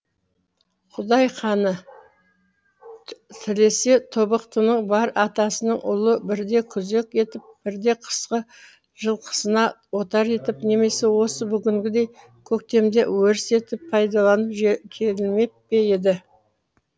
құдай қані тілесе тобықтының бар атасының ұлы бірде күзек етіп бірде қысқы жылқысына отар етіп немесе осы бүгінгідей көктемде өріс етіп пайдаланып келмеп пе еді